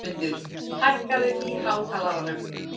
Játmundur, hækkaðu í hátalaranum.